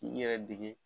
K'i yɛrɛ dege